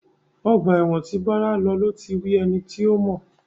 Ọgbà ẹ̀wọ̀n tí Bọ́lá lọ ló ti rí ẹni tí ó mọ̀.